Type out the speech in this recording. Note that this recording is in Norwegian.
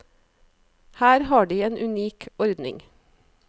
Her har de en unik ordning.